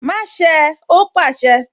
Má ṣé ẹ! Ó pàṣẹ